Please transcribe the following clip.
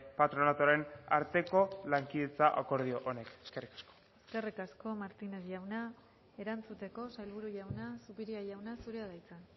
patronatuaren arteko lankidetza akordio honek eskerrik asko eskerrik asko martínez jauna erantzuteko sailburu jauna zupiria jauna zurea da hitza